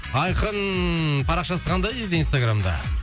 айқын парақшасы қандай дейді инстаграмда